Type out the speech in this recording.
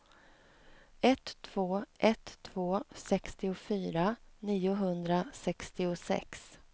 ett två ett två sextiofyra niohundrasextiosex